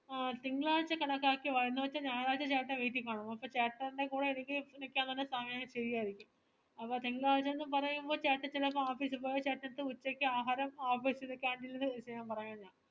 ആഹ് തിങ്കളാഴ്ച കണക്കാക്കി വാ എന്നിവച്ചാ ഞാറാഴ്ച ചേട്ടൻ വീട്ടിൽ കാണും അപ്പൊ ചേട്ടന്റെ കൂടെ എനിക്ക് നിക്കാൻ ന്നു പറഞ്ഞ എനിക്ക് സമയം ശരിയായിരിക്കും അപ്പൊ തിങ്കളാഴ്ച ന്നു പരേമ്പോ ചേട്ടൻ ചെലപ്പോ office ൽ പോയാൽ ചേട്ടന്റേഡ്ത് ആഹാരം ഉച്ചക്ക് office ലെ canteen ല്ന്ന് കഴിക്കാൻ പറയാം ഞാൻ